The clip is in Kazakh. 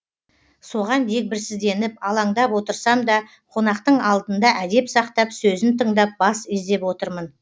соған дегбірсізденіп алаңдап отырсам да қонақтың алдында әдеп сақтап сөзін тыңдап бас изеп отырмын